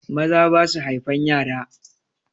Maza basu haifan yara.